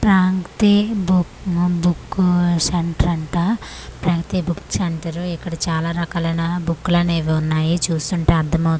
ప్రాంక్తి బు ఉమ్ బుక్కు ఉఊ సెంటర్ అంట ప్రగతి బుక్ సెంటరు ఇక్కడ చాలా రకాలైన బుక్కులనేవి ఉన్నాయి చూస్తుంటే అర్థమౌ'--'